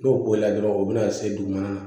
N'o b'o la dɔrɔn o bɛna se dugumana la